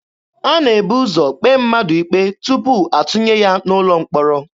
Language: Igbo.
A na-ebu ụzọ kpee mmadụ ikpe tupu atụnye ya n'ụlọ mkpọrọ.